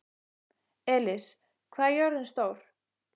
Elis, hvað er jörðin stór?